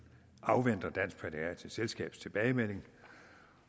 afventer dansk pædiatrisk selskabs tilbagemelding